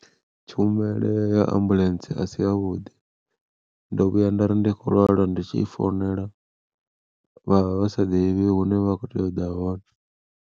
Tshumelo ya ambuḽentse a si ya vhuḓi ndo vhuya nda ri ndi kho lwala ndi tshi founela, vhavha vha sa ḓivhi hune vha kho tea u ḓa hone.